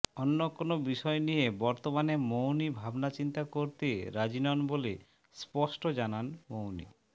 অন্য কোনও বিষয় নিয়ে বর্তমানে মৌনি ভাবনাচিন্তা করতে রাজি নন বলে স্পষ্ট জানান মৌনি